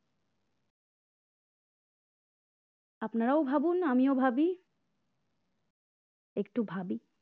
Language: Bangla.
আপনারাও ভাবুন আমিও ভাবি একটু ভাবি